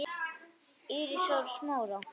Írisar og Smára.